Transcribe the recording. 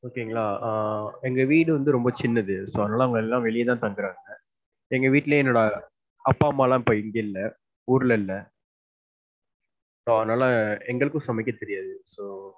Okay ங்களா. ஆஹ் எங்க வீடு வந்து ரொம்ப சின்னது so அதுனால எல்லாம் வெளிய தான் தாங்குறாங்க. எங்க வீட்டுலையே என்னோட அப்பா, அம்மா எல்லாம் இப்ப இங்க இல்ல. ஊருல இல்ல. So அதுனால எங்களுக்கும் சமைக்க தெரியாது. So,